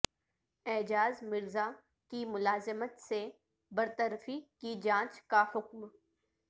اعجاز مرزا کی ملازمت سے برطرفی کی جانچ کا حکم